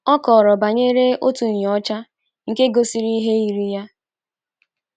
O kọrọ banyere otu nnyocha nke gosiri ihe yiri ya.